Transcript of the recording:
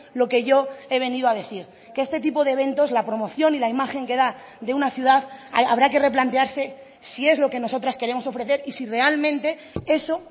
lo que yo he venido a decir que este tipo de eventos la promoción y la imagen que da de una ciudad habrá que replantearse si es lo que nosotras queremos ofrecer y si realmente eso